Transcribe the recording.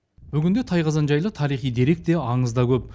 бүгінде тайқазан жайлы тарихи дерек те аңыз да көп